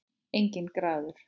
Enginn garður.